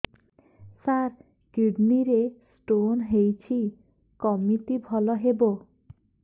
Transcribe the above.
ସାର kidney ରେ stone ହେଇଛି କମିତି ଭଲ ହେବ